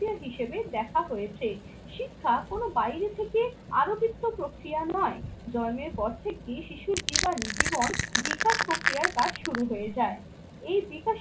হিসেবে দেখা হয়েছে। শিক্ষা কোনো বাইরে থেকে আরো কিছু প্রক্রিয়া নয়। জন্মের পর থেকে শিশুর জীবন বিকাশ প্রক্রিয়ার কাজ শুরু হয়ে যায়। এই বিকাশের